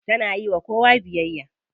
Tana yiwa kowa biyayya.